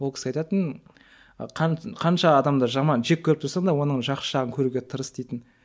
ол кісі айтатын ы қанша адамда жаман жек көріп тұрсаң да оның жақсы жағын көруге тырыс дейтін